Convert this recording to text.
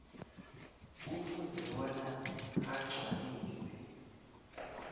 kufuze bona agcwalise